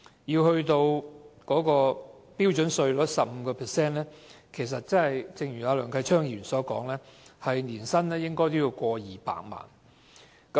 要達到 15% 標準稅率的水平，按梁繼昌議員所說，年薪必須超過200萬元。